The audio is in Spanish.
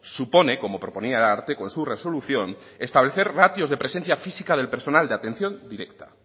supone como proponía el ararteko en su resolución establecer ratios de presencia física del personal de atención directa